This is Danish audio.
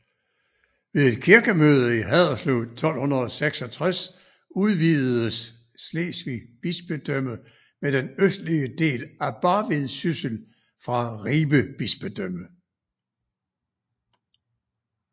Ved et kirkemøde i Haderslev 1266 udvidedes Slesvig Bispedømme med den østlige del af Barvid Syssel fra Ribe Bispedømme